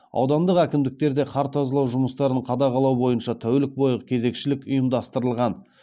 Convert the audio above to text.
аудандық әкімдіктерде қар тазалау жұмыстарын қадағалау бойынша тәулік бойғы кезекшілік ұйымдастырылған